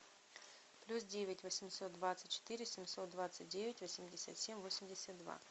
плюс девять восемьсот двадцать четыре семьсот двадцать девять восемьдесят семь восемьдесят два